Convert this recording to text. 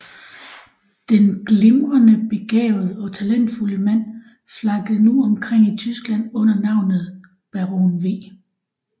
Den glimrende begavede og talentfulde mand flakkede nu omkring i Tyskland under navnet Baron v